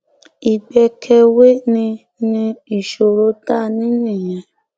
ìgbẹkẹwé ni ni ìṣòro tá a ní nìyẹn